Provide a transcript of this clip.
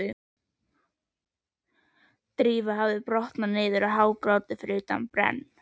Drífa hafði brotnað niður og hágrátið fyrir utan brenn